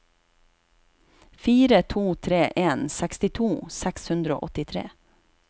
fire to tre en sekstito seks hundre og åttitre